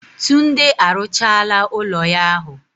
Tunde arụchaala ụlọ ya ahu.